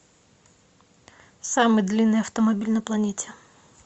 самый длинный автомобиль на планете